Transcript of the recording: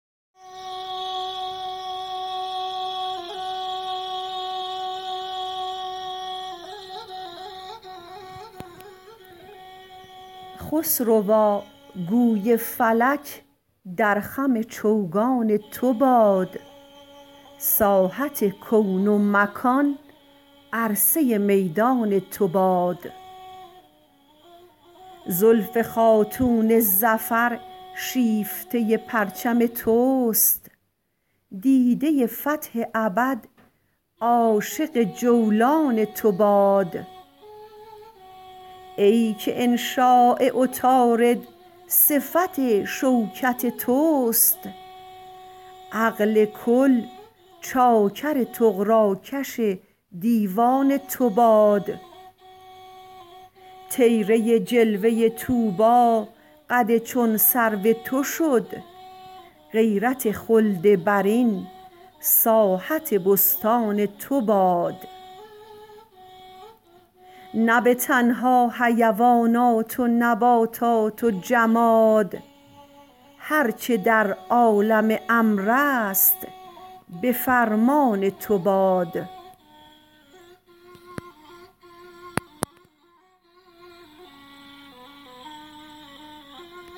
خسروا گوی فلک در خم چوگان تو باد ساحت کون و مکان عرصه میدان تو باد زلف خاتون ظفر شیفته پرچم توست دیده فتح ابد عاشق جولان تو باد ای که انشاء عطارد صفت شوکت توست عقل کل چاکر طغراکش دیوان تو باد طیره جلوه طوبی قد چون سرو تو شد غیرت خلد برین ساحت بستان تو باد نه به تنها حیوانات و نباتات و جماد هر چه در عالم امر است به فرمان تو باد